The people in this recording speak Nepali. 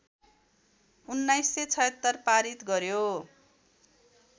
१९७६ पारित गर्‍यो